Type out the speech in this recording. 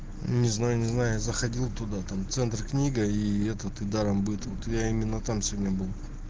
не знаю не знаю я заходил туда там центр-книга и этот даромбыт вот я именно там сегодня был